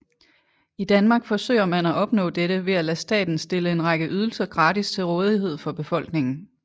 I Danmark forsøger man at opnå dette ved at lade staten stille en række ydelser gratis til rådighed for befolkningen